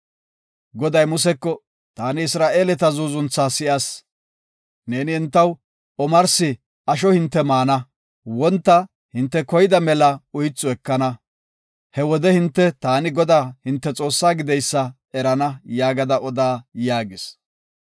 Goday Museko, “Taani Isra7eeleta zuuzuntha si7as. Neeni entaw ‘Omarsi asho hinte maana; wonta hinte koyida mela uythu ekana. He wode hinte taani Godaa hinte Xoossaa gideysa erana’ yaagada oda” yaagis.